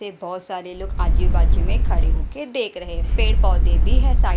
पे बहोत सारे लोग आजू बाजू में खड़े होके देख रहे है पेड़ पौधे भी है साइड --